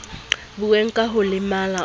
buuwe ka ho lemala o